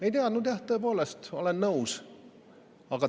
Ei teadnud jah, tõepoolest, olen nõus.